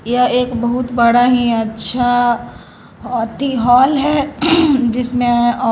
यह एक बहुत बड़ा ही अच्छा ओती हॉल है जिसमे--